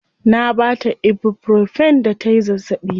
Na baa ta ibuprofen da tayi zazzaɓi.